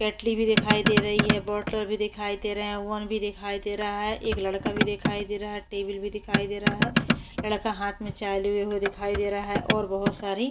केटली भी दिखाई दे रही है बोटल भी दिखाई दे रहे हैं ओवन भी दिखाई दे रहा है एक लड़का भी दिखाई दे रहा है टेबिल भी दिखाई दे रहा है। लड़का हाथ में चाय लिए हुए दिखाई दे रहा है और बोहोत सारी --